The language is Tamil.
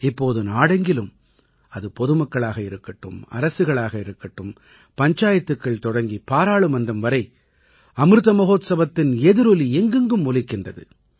இப்போது நாடெங்கிலும் அது பொதுமக்களாக இருக்கட்டும் அரசுகளாகட்டும் பஞ்சாயத்துக்கள் தொடங்கி பாராளுமன்றம் வரை அமிர்த மஹோத்சவத்தின் எதிரொலி எங்கெங்கும் ஒலிக்கின்றது